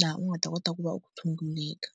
laha u nga ta kota ku va u tshunguleka.